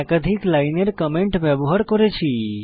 একাধিক লাইনের কমেন্ট ব্যবহার করেছি